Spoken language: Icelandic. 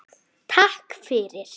Takk fyrir